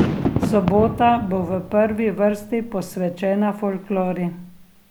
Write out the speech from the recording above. Sobota bo v prvi vrsti posvečena folklori.